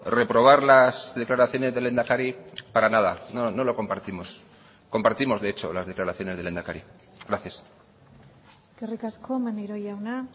reprobar las declaraciones del lehendakari para nada no lo compartimos compartimos de hecho las declaraciones del lehendakari gracias eskerrik asko maneiro jauna